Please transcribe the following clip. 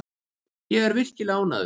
Ég er virkilega ánægður.